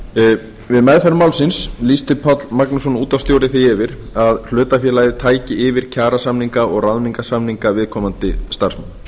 við meðferð málsins lýsti páll magnússon útvarpsstjóri því yfir að hlutafélagið tæki yfir kjarasamninga og ráðningarsamninga viðkomandi starfsmanna